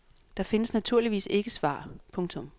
Der findes naturligvis ikke svar. punktum